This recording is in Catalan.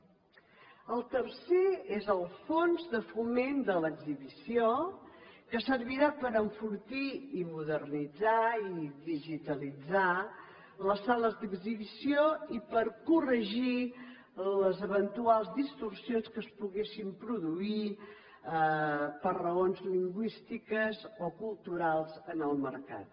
el tercer és el fons de foment de l’exhibició que servirà per enfortir i modernitzar i digitalitzar les sales d’exhibició i per corregir les eventuals distorsions que es poguessin produir per raons lingüístiques o culturals en el mercat